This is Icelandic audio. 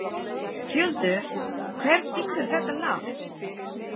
Skjöldur, hver syngur þetta lag?